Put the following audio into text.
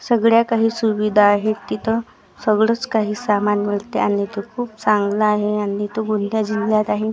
सगळ्या काही सुविधा आहेत तिथं सगळंच काही सामान मिळते आणि तू खूप चांगला आहे आणि तो कोणत्या जिल्ह्यात आहे?